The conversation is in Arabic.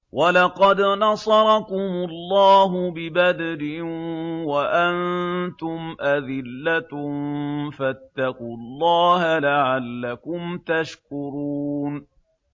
وَلَقَدْ نَصَرَكُمُ اللَّهُ بِبَدْرٍ وَأَنتُمْ أَذِلَّةٌ ۖ فَاتَّقُوا اللَّهَ لَعَلَّكُمْ تَشْكُرُونَ